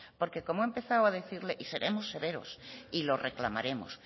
porque como he empezado a decirle y seremos severos y lo reclamaremos